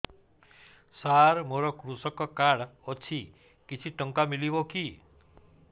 ସାର ମୋର୍ କୃଷକ କାର୍ଡ ଅଛି କିଛି ଟଙ୍କା ମିଳିବ କି